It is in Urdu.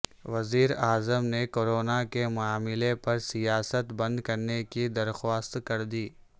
وزیر اعظم نے کورونا کے معاملے پر سیاست بند کرنے کی درخواست کردی